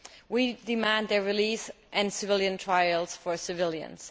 We demand their release and civilian trials for civilians.